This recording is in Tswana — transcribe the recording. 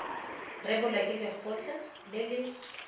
rebolwa ke lekgotlha le le